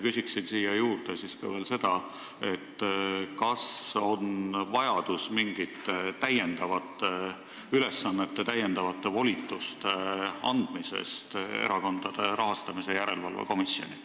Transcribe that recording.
Küsin siia juurde veel seda, kas on vajadus anda mingeid täiendavaid ülesandeid või volitusi Erakondade Rahastamise Järelevalve Komisjonile.